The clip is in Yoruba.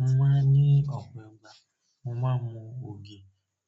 Mo máa ń ní ọ̀pọ̀ ìgbà mo máa ń mu ògì